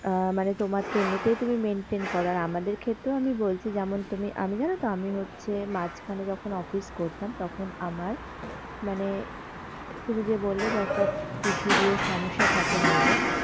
আহ মানে তোমার তো এমনিতেই তুমি maintain করো আর আমাদের ক্ষেত্রে আমি বলছি যেমন তুমি আমি জানতো আমি হচ্ছে মাঝখানে যখন অফিস করতাম তখন আমার মানে তুমি যে বললে যে একটা PCR সমস্যা থাকে মেয়েদের।